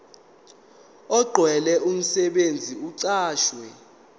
okugcwele umsebenzi oqashwe